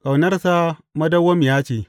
Ƙaunarsa madawwamiya ce.